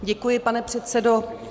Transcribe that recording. Děkuji, pane předsedo.